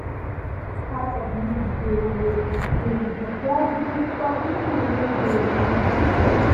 i wash one part of news dey wey explain di surprise visit from pipo wey dey monitor health.